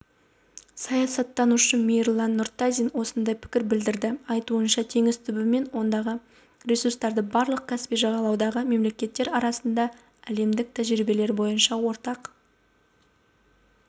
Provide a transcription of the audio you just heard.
саясаттанушы мейірлан нұртазин осындай пікір білдірді айтуынша теңіз түбі мен ондағы ресурстарды барлық каспий жағалауындағы мемлекеттер арасында әлемдік тәжірибелер бойынша ортақ